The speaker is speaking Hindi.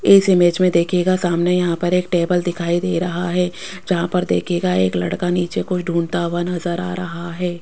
इस इमेज में देखियेगा सामने यहां पर एक टेबल दिखाई दे रहा है जहां पर देखियेगा एक लड़का नीचे कुछ ढूंढता हुआ नजर आ रहा है।